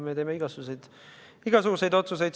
Me teeme igasuguseid otsuseid.